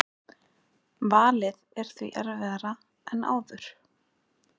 Valið er því erfiðara en áður